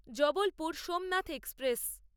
Jabalpur Somnath express